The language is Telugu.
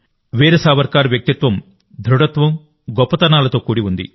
వీర సావర్కర్ వ్యక్తిత్వం దృఢత్వం గొప్పతనాలతో తో కూడి ఉంది